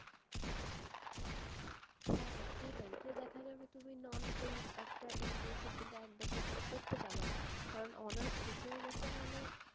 হ্যাঁ হ্যাঁ এটাই, তো দেখা যাবে তুমি non paid একটা internship কিন্তু এক বছর ধরে চাওয়ান, কারণ honours শেষ হয়ে গেছে মানে,